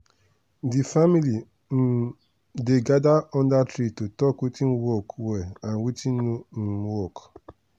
the family um dey gather under tree to talk watin work well and watin no um work.